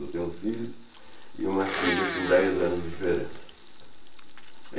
Eu tenho um filho e uma filha com dez anos de diferença.